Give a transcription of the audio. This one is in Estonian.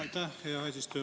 Aitäh, hea eesistuja!